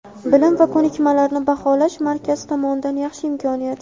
Bilim va ko‘nikmalarni baholash markazi tomonidan yaxshi imkoniyat.